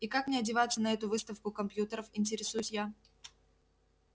и как мне одеваться на эту выставку компьютеров интересуюсь я